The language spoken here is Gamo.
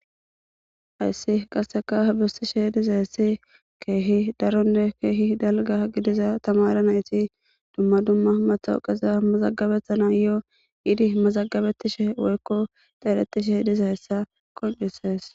Ayssi qasseka bissishe diza hessi keehi daronne keehi dalga gidiza tamara nayti dumma dumma matawuqiza mazagabethana yoo yidi mazagabettishe woykko xeerettishe diza hessa qoncisees